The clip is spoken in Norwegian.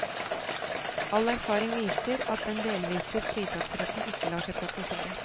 All erfaring viser at den delvise fritaksretten ikke lar seg praktisere.